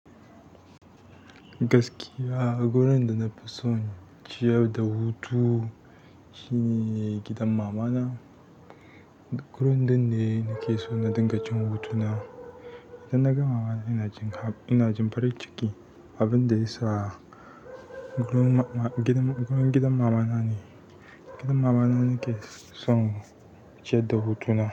Gaskiya, gurin da na fi son ciyar da hutu shine gidan mamana. Gurin duk ne nake so na dinga cin hutu na. Dan naga mamana ina jin farin ciki. Abin da ya sa gidan mama nane gidan mamana nakeson ciyad da hutuna.